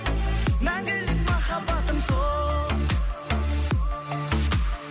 мәңгілік махаббатым сол